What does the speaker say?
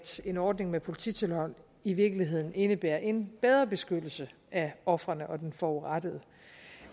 en ordning med polititilhold i virkeligheden indebærer en bedre beskyttelse af ofrene og den forurettede